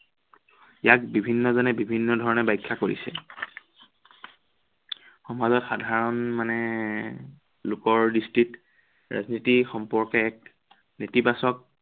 ইয়াত বিভিন্ন জনে বিভিন্ন ধৰনে বাখ্য়া কৰিছে। সমাজত সাধাৰণ মানে লোকৰ দৃষ্টিত ৰাজনীতি সম্পৰ্কে এক নেতিবাচক